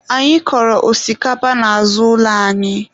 Anyị kọrọ osikapa n'azụ ụlọ anyị